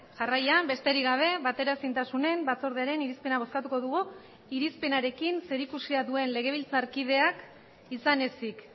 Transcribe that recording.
jarraian besterik gabe bateraezintasunen batzordearen irizpena bozkatuko dugu irizpenarekin zerikusia duen legebiltzarkideak izan ezik